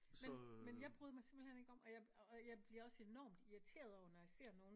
Men men jeg bryder mig simpelthen ikke om og jeg og jeg bliver også enormt irreteret over når jeg ser nogen